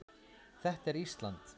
Þetta er Ísland.